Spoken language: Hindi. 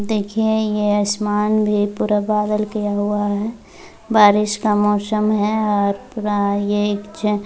देखिए यह आसमान भी पूरा बदल किया हुआ है बारिश का मौसम है और पूरा यह एक जो --